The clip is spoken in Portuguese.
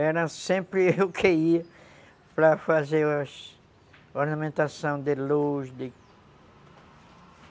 Era sempre eu que ia para fazer as ornamentações de luz.